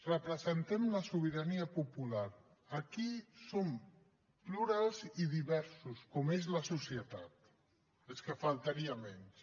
representem la sobirania popular aquí som plurals i diversos com és la societat és que faltaria menys